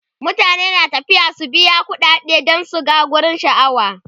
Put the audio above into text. mutane na tafiya su biya ƙuɗade dan su gan wurin sha'awa